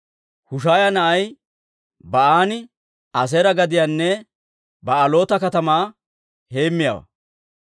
Hushaaya na'ay Ba'aani Aaseera gadiyanne Ba'aaloota katamaa heemmiyaawaa.